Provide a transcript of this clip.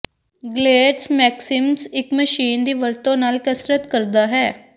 ਗਲੇਟਸ maximus ਇਕ machine ਦੀ ਵਰਤੋਂ ਨਾਲ ਕਸਰਤ ਕਰਦਾ ਹੈ